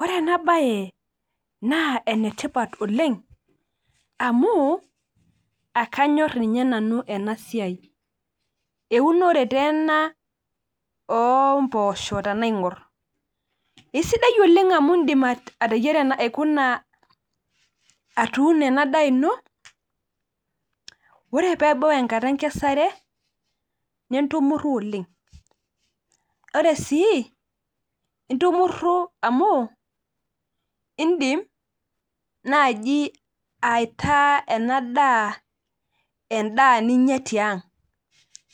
Ore enabae, naa enetipat oleng. Amu, akanyor inye nanu enasiai. Eunore teena ompoosho tenaing'or. Isidai oleng amu idim ateyiara aikuna atuuno enadaa ino, ore pebau enkata enkesare, nintumurru oleng. Ore si, intumurru amu, idim naji aitaa enadaa endaa ninya tiang'.